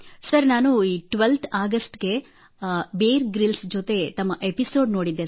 sir ನಾನು twelfth August ಕ್ಕೆ Bear Grylls ಜೊತೆಗೆ ತಮ್ಮ ಎಪಿಸೋಡ್ ನೋಡಿದ್ದೆ